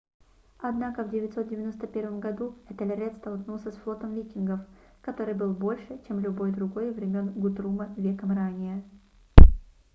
однако в 991 году этельред столкнулся с флотом викингов который был больше чем любой другой времён гутрума веком ранее